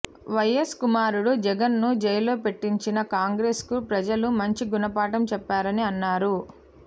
YS కుమారుడు జగన్ ను జైల్లో పెట్టించిన కాంగ్రెస్ కు ప్రజలు మంచి గుణపాఠం చెప్పారని అన్నారు